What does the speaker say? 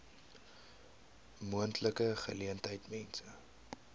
moontlike geleentheid mense